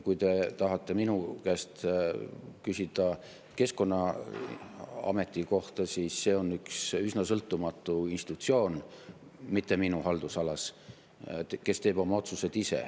Kui te tahate minu käest küsida Keskkonnaameti kohta, siis see on üks üsna sõltumatu institutsioon üldse mitte minu haldusalas, kes teeb oma otsused ise.